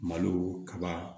Malo kaba